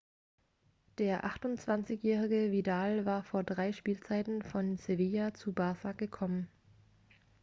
der 28-jährige vidal war vor drei spielzeiten von sevilla zu barça gekommen